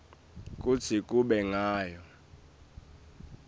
kutsi kube ngiyo